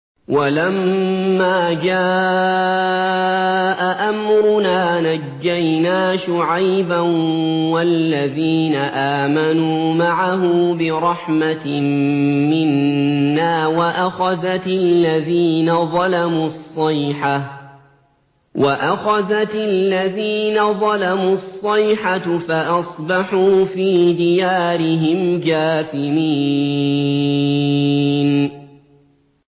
وَلَمَّا جَاءَ أَمْرُنَا نَجَّيْنَا شُعَيْبًا وَالَّذِينَ آمَنُوا مَعَهُ بِرَحْمَةٍ مِّنَّا وَأَخَذَتِ الَّذِينَ ظَلَمُوا الصَّيْحَةُ فَأَصْبَحُوا فِي دِيَارِهِمْ جَاثِمِينَ